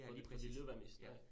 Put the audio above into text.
Ja, lige præcis. Ja